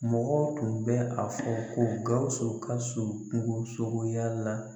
Mɔgɔ tun bɛ a fɔ ko GAWUSU ka surun kungosogoya la.